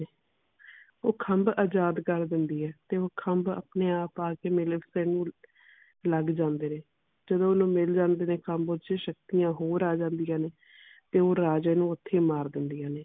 ਉਹ ਖਮਭ ਆਜ਼ਾਦ ਕਰ ਦਿੰਦੀ ਹੈ ਤੇ ਉਹ ਖਮਭ ਆਪਣੇ ਆਪ ਆ ਕੇ ਮਲਿਫੀਸੈਂਟ ਨੂੰ ਲੱਗ ਜਾਂਦੇ ਨੇ। ਜਦੋ ਉਹਨੂੰ ਮਿਲ ਜਾਂਦੇ ਨੇ ਖਮਭ ਚ ਸ਼ਕਤੀਆਂ ਹੋਰ ਆ ਜਾਂਦੀਆਂ ਨੇ ਤੇ ਉਹ ਰਾਜੇ ਨੂੰ ਓਥੇ ਹੀ ਮਾਰ ਦਿੰਦਿਆਂ ਨੇ।